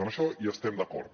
en això hi estem d’acord